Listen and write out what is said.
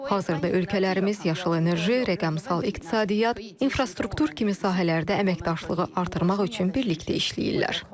Hazırda ölkələrimiz yaşıl enerji, rəqəmsal iqtisadiyyat, infrastruktur kimi sahələrdə əməkdaşlığı artırmaq üçün birlikdə işləyirlər.